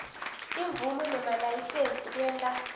timvumo nemalayisensi kwenta